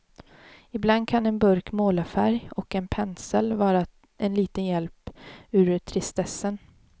Ibland kan en burk målarfärg och en pensel vara en liten hjälp ur tristessen.